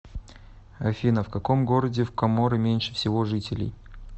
афина в каком городе в коморы меньше всего жителей